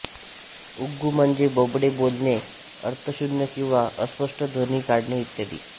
उग्गु म्हणजे बोबडे बोलणे अर्थशून्य किंवा अस्पष्ट ध्वनी काढणे इत्यादी